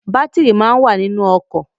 Batiri máa ń wà nínú ọkọ̀